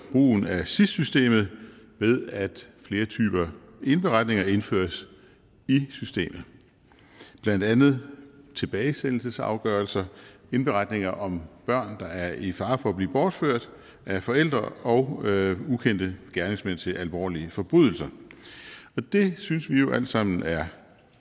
brugen af sis systemet ved at flere typer indberetninger indføres i systemet blandt andet tilbagesendelsesafgørelser indberetninger om børn der er i fare for at blive bortført af forældre og ukendte gerningsmænd til alvorlige forbrydelser det synes vi jo alt sammen er